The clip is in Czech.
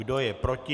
Kdo je proti?